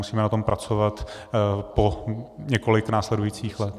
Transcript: Musíme na tom pracovat po několik následujících let.